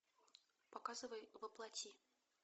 показывай во плоти